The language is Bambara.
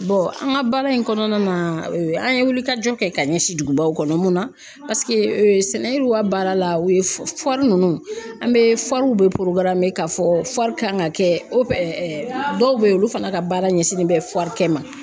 an ka baara in kɔnɔna na an ye wulikajɔ kɛ ka ɲɛsin dugubaw kɔnɔ mun na sɛnɛw ka baara la o ye nunnu an be be ka fɔ kan ka kɛ dɔw be yen olu fana ka baara ɲɛsinnen bɛ kɛ ma